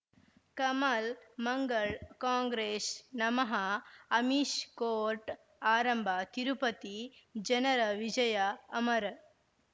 ಕಮಲ್ ಮಂಗಳ್ ಕಾಂಗ್ರೆಸ್ ನಮಃ ಅಮಿಷ್ ಕೋರ್ಟ್ ಆರಂಭ ತಿರುಪತಿ ಜನರ ವಿಜಯ ಅಮರ್